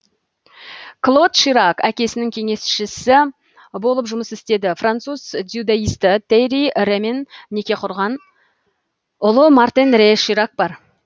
клод ширак әкесінің кеңесшісі болып жұмыс істеді француз дзюдоисті тьерри ремен неке құрған ұлы мартен ре ширак бар